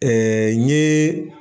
n ye